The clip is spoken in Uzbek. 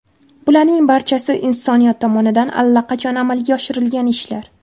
Bularning barchasi insoniyat tomonidan allaqachon amalga oshirilgan ishlar.